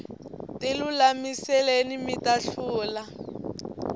tilulamiseni mita hlula